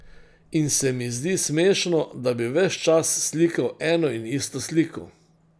In se mi zdi smešno, da bi ves čas slikal eno in isto sliko.